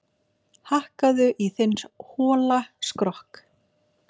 Hakkaðu í þinn hola skrokk